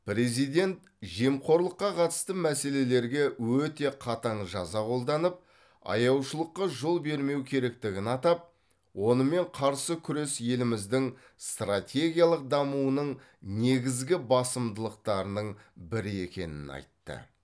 президент жемқорлыққа қатысты мәселелерге өте қатаң жаза қолданып аяушылыққа жол бермеу керектігін атап онымен қарсы күрес еліміздің стратегиялық дамуының негізгі басымдылықтарының бірі екенін айтты